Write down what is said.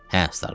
Hə, Starbek.